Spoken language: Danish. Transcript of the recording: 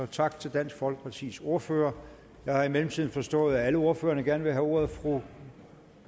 tak til dansk folkepartis ordfører jeg har i mellemtiden forstået at alle ordførerne gerne vil have ordet fru